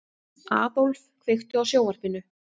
Aðólf, kveiktu á sjónvarpinu.